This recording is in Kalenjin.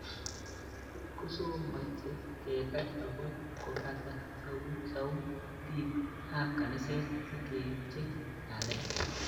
"Kot kosomech kekany akoi kobata sautik ab kaniset sikepchei ng'alek"